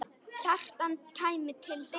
Kjartan kæmi til dyra.